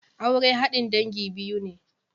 Aure haɗin dangi biyu ne.